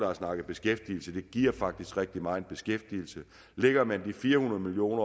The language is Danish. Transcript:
har snakket beskæftigelse og det giver faktisk rigtig meget beskæftigelse lægger man de fire hundrede million